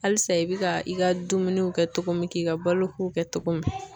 Alisa i bi ka i ka dumuni kɛ togo min k'i ka balo ko kɛ togo min